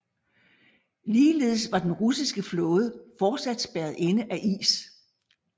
Ligeledes var den russiske flåde fortsat spærret inde af is